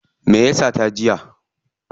Me ya sata jiya?